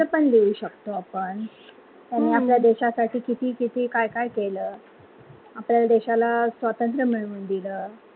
त्यांच पण लिहू शकतो आपण त्यांनी आपल्या देशशासाठी किती - किती, काय - काय केल आपल्या देशाला स्वतंत्र मिळवून दिल.